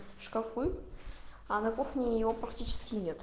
шкафы на кухне его практически нет